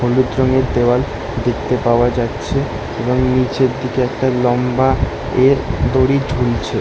হলুদ রঙের দেওয়াল দেখতে পাওয়া যাচ্ছে এবং নিচের দিকে একটা লম্বা এর দড়ি ঝুলছে ।